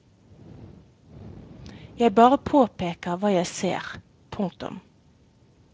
Jeg bare påpeker hva jeg ser. punktum